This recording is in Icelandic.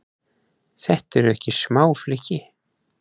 Þetta eru ekki smá flykki?